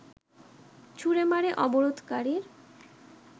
ছুড়ে মারে অবরোধকারীর